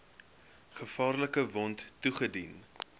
gevaarlike wond toegedien